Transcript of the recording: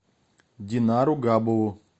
динару габову